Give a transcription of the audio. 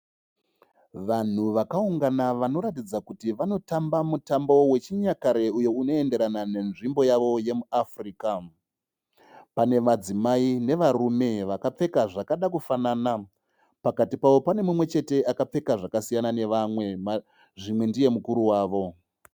Vanhu vakaungana vanoratidza kuti vanotamba mutambo wechinyakare uyo unoenderana nenzvimbo yavo yemuAfrica. Pane madzimai nevarume vakapfeka zvakada kufanana. Pakati pavo pane mumwe chete akapfeka zvakasiyana nevamwe zvimwe ndiye mukuru wavo.